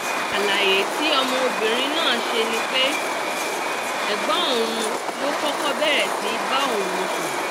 àlàyé tí ọmọbìnrin náà ṣe ni pé ẹ̀gbọ́n òun ló kọ́kọ́ bẹ̀rẹ̀ sí í bá òun sùn